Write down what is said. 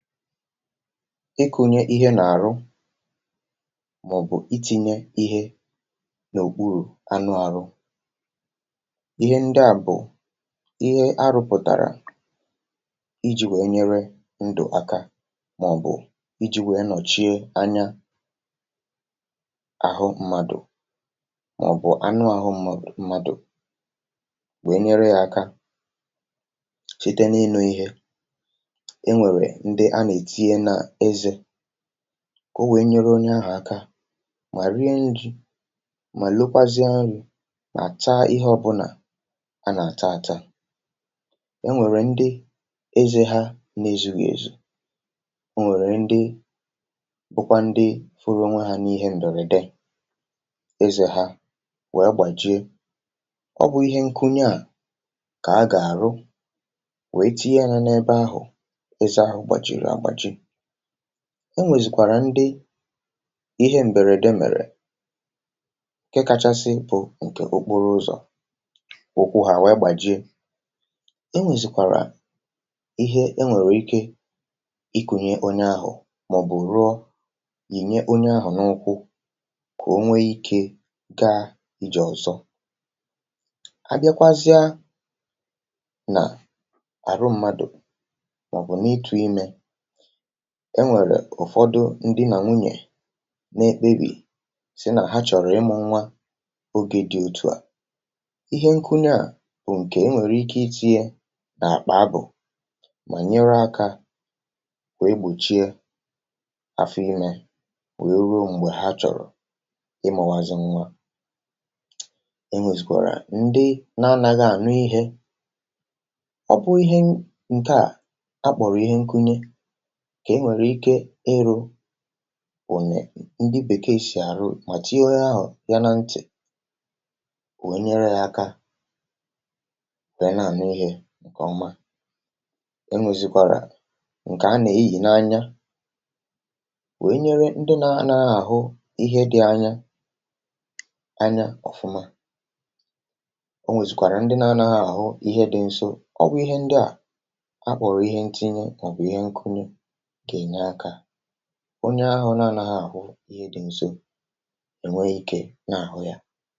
íkʊ́ɲé íɦé nà:rʊ́ mɔ̀: bʊ̀ ɪ́tɪ́ɲé íɦé nò:ɓʊ́rụ̀ ánʊ́ áɦʊ́ íɦɛ́ ńdjà bʊ̀ íɦé á rʊ́pʊ̀ tàrà ɪ́dʒɪ̄ wéé ɲɛ́rɛ́ ńdʊ̀ áká mɔ̀: bʊ̀ ɪ́dʒɪ̄ wéé nɔ̀ʧíé áɲá àɦʊ́ ḿmádù mɔ̀: bʊ̀ ánʊ́ áɦʊ́ ḿmádù wéé ɲéré jā áká síté ní:nō íɦé ɛ́ nʷɛ̀rɛ̀ ńdɪ́ á nè:tíɲé nà ɛ́zɛ̄ kà ó wéé ɲéré óɲé áɦʊ̀ áká mà rúé ídʒì mà lókʷázɪ́á ńrɪ̄ mà táá íɦé ɔ́bʊ́nà á nà:tá átá é nʷèrè ńdɪ́ ézē ɦá ná ézúɣì èzù ɔ́ nʷɛ̀rɛ̀ ńdɪ́ nʷékʷá ńdɪ́ ɦʊ́rʊ́ ónʷé ɦá ní:ɦɛ́ m̀bɛ̀rɛ̀dɛ́ ézē ɦā wɛ́ gbàdʒíé ɔ́ bʊ̄ íɦé ńkúɲé à kà á gà:rʊ́ wéé tíɲé jā nɛ́:bɛ́ áɦʊ̀ ɛ́zɛ́ áɦʊ̀ gbàdʒìrì àgbàdʒɪ́ ó nʷèzìkʷàrà ńdɪ́ íɦɛ́ m̀bɛ́rɛ̀dɛ́ mɛ̀rɛ̀ ǹkɛ́ káʧásɪ́ bʊ̀ ǹkɛ̀ óɓóró ʊ́zɔ̀ ʊ́kʷʊ́ ɦá wéé gbàdʒíé é nʷèzìkàrà íɦé ɛ́ nʷɛ̀rɛ̀ íké ɪ́ kúɲé óɲé áɦʊ̀ mɔ̀: bʊ̀ rʊ́ɔ́ jíɲɛ́ óɲé áɦʊ̀ nʊ́:kʷʊ́ kà ó nʷé íkē kà ídʒè ɔ̀zɔ́ á bjákʷázjá nà àrʊ́ ḿmádù mɔ̀: bʊ̀ nɪ́:tʊ̄ ímē ɛ́ nʷɛ̀rɛ̀ ʊ̀fɔ́dʊ́ ńdī nà nʷúɲé nā éɓébì sɪ́ nà ɦá ʧɔ̀rɔ́ ɪ́mʊ̄ nʷá ógē dɪ̄ òtú à íɦɛ́ nkʊ́ɲɛ́ à bʊ̀ ǹkɛ̀ ɛ́ nʷɛ̀rɛ̀ íké ɪ́ tíɲé nà àɓà ábʊ̀ mà ɲéré ákā wéé gbòʧíé áfɔ́ ímē wéé rúó m̀gbè ɦá ʧɔ̀rɔ̀ ɪ́mʊ̄wázɪ́ nʷá é nʷèzìkʷàrà ńdɪ́ nā ánáɣɪ́ ànʊ́ íɦɛ̄ ɔ̀ bʊ́ íɦé ǹkɛ̀ à á ɓɔ̀rɔ̀ íɦɛ́ ńkúɲé kà é nʷèrè íké ɪ́rʊ̄ bʊ̀ɲɛ̀ ńdɪ́ Bèkèè sì àrʊ́ mà tíɲé óɲé áɦʊ̀ jā ná ńtɪ̀ wéé ɲɛ́rɛ́ jā áká wéé nà ànʊ́ íɦē ǹkè ɔ́má é nʷèzìkʷàrà ǹkɛ̀ á nà éjì ná:ɲá wéé ɲéré ńdɪ́ nā ánáɣɪ́ àɦʊ́ íɦé dɪ̄ áɲá áɲá ɔ̀fʊ́má ó nʷèzìkʷàrà ńdɪ́ nā ánáɣɪ́ àɦʊ́ íɦé dɪ̄ ńsó ɔ́ bʊ̄ íɦé ńdjà á ɓɔ̀rɔ̀ íɦé ńkíní mɔ̀:bʊ̀ íɦé ńkúrú gà èɲé ákā óɲé áɦʊ́ nā ánáɣɪ́ àɦʊ́ íɦé dɪ̄ ńsó ɛ̀nʷɛ́ íkē nà:ɦʊ́ jā ikụnye ihe n’à mà ọ̀ bụ̀ ịtịnye ihe n’òkpụrụ̀ anụ ahụ ihẹ ndịà bụ̀ ihe a rụpụ̀tàrà ịjị̄ wee nyẹrẹ ndụ̀ aka mà ọ̀ bụ̀ ịjị̄ wee nọ̀chie anya àhụ mmadù mà ọ̀ bụ̀ anụ ahụ mmadù wee nyere yā aka site n’inō ihe ẹ nwẹ̀rẹ̀ ndị a nà ètinye nà ẹzẹ̄ kà o wee nyere onye ahụ̀ aka mà rue ijì mà lokwazịa nrị̄ mà taa ihe ọbụnà a nà àta ata e nwèrè ndị ezē ha na ezughì èzù ọ nwẹ̀rẹ̀ ndị nwekwa ndị hụrụ onwe ha n’ihẹ m̀bẹ̀rẹ̀dẹ ezē hā wẹ gbàjie ọ bụ̄ ihe nkunye à kà a gà àrụ wee tinye yā n’ẹbẹ ahụ̀ ẹzẹ ahụ̀ gbàjìrì àgbàjị o nwèzìkwàrà ndị ihẹ m̀bẹrẹ̀dẹ mẹ̀rẹ̀ ǹkẹ kachasị bụ̀ ǹkẹ̀ okporo ụzọ̀ ụkwụ ha wee gbàjie e nwèzìkàrà ihe ẹ nwẹ̀rẹ̀ ike ị kunye onye ahụ̀ mà ọ̀ bụ̀ rụọ yinyẹ onye ahụ̀ n’ụkwụ kà o nwe ikē kà ijè ọ̀zọ a bịakwazịa nà àrụ mmadù mà ọ̀ bụ̀ n’ịtụ̄ imē ẹ nwẹ̀rẹ̀ ụ̀fọdụ ndī nà nwunye nā ekpebì sị nà ha chọ̀rọ ịmụ̄ nwa ogē dị̄ òtuà ihẹ nkụnyẹ à bụ̀ ǹkẹ̀ ẹ nwẹ̀rẹ̀ ike ị tinye nà àkpà abụ̀ mà nyere akā wee gbòchie afọ imē wee ruo m̀gbè ha chọ̀rọ̀ ịmụ̄wazị nwa e nwèzìkwàrà ndị nā anaghị ànụ ihẹ̄ ọ̀ bụ ihe ǹkẹ̀ à a kpọ̀rọ̀ ihẹ nkunye kà e nwèrè ike ịrụ̄ bụ̀nyẹ̀ ndị Bèkèè sì àrụ mà tinye onye ahụ̀ yā na ntị̀ wee nyẹrẹ yā aka wee nà ànụ ihē ǹkè ọma e nwèzìkwàrà ǹkẹ̀ a nà eyì n’anya wee nyere ndị nā anaghị àhụ ihe dị̄ anya anya ọ̀fụma o nwèzìkwàrà ndị nā anaghị àhụ ihe dị̄ nso ọ bụ̄ ihe ndịà a kpọ̀rọ̀ ihe nkini mà ọ̀ bụ̀ ihe nkuru gà ènye akā onye ahụ nā anaghị àhụ ihe dị̄ nso ẹ̀nwẹ ikē nà àhụ yā